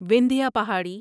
Vindhya Pahari